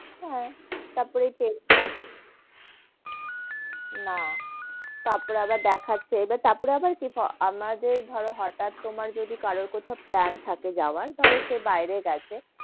হেঁ, তার পরে ওই টা, না তার পরে আবার দেখাচ্ছে, তারপরে আবার কি আমাদের ধরো হটাত তোমার তোমার যদি কারো কোথাও plan থাকে যাওয়ার, ধরো সেই বাইরে গেছে,